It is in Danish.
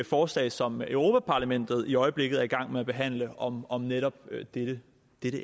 forslag som europa parlamentet i øjeblikket er i gang med at behandle om om netop dette